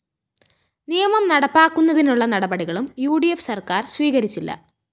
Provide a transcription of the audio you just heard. നിയമം നടപ്പാക്കുന്നതിനുള്ള നടപടികളും ഉ ഡി ഫ്‌ സര്‍ക്കാര്‍ സ്വീകരിച്ചില്ല